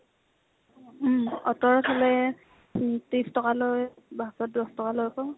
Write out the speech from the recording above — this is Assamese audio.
উম । auto ত ইফালে ত্ৰিছ টকা লয়, bus ত দশ টকা লয় আকৌ ।